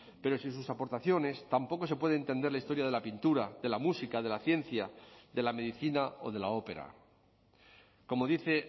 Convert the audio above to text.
pero sin sus aportaciones tampoco se puede entender la historia de la pintura de la música de la ciencia de la medicina o de la ópera como dice